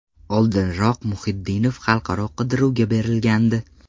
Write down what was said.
Oldinroq Muhiddinov xalqaro qidiruvga berilgandi.